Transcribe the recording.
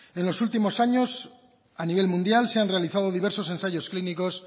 en los últimos años a nivel mundial se han realizado diversos ensayos clínicos